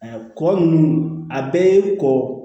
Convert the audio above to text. Kɔ nunnu a bɛɛ ye kɔ